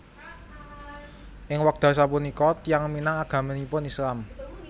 Ing wekdal sapunika tiyang Minang agaminipun Islam